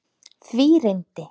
Því reyndi